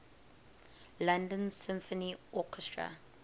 london symphony orchestra